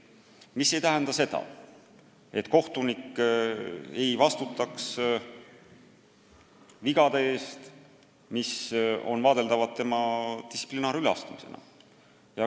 Aga see ei tähenda seda, et kohtunik ei vastuta vigade eest, mis on vaadeldavad tema distsiplinaarüleastumisena.